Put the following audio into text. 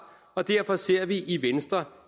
og derfor ser vi i venstre